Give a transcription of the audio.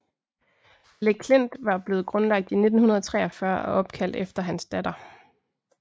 Le Klint var blevet grundlagt 1943 og opkaldt efter hans datter